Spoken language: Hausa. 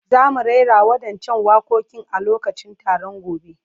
Za mu rera waɗancan waƙoƙin a lokacin taron gobe.